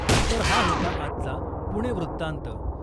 तर हा होता आजचा ' पुणे वृत्तांत '.